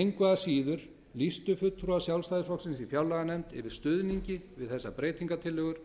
engu að síður lýstu fulltrúar sjálfstæðisflokksins í fjárlaganefnd yfir stuðningi við þessar breytingartillögur